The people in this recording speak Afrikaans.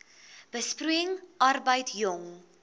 besproeiing arbeid jong